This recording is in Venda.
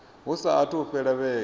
hu saathu u fhela vhege